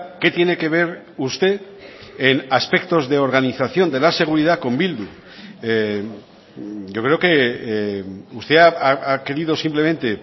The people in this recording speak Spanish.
qué tiene que ver usted en aspectos de organización de la seguridad con bildu yo creo que usted ha querido simplemente